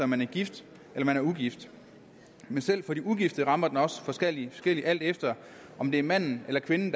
man er gift eller man er ugift men selv for de ugifte rammer den også forskelligt alt efter om det er manden eller kvinden